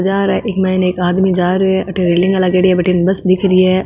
इ के मायने एक आदमी जा रहो हो है अठीने रेलिंग लागेड़ी है बडीने बस दिख रही है।